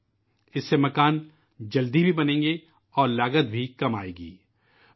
اس کی مدد سے مکانات تیزی سے تعمیر ہوں گے اور لاگت بھی کم آئے گی